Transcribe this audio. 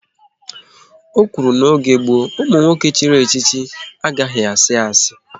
Ọ kwuru na n'oge gboo, ụmụ nwoke chiri echichi anaghị asị asi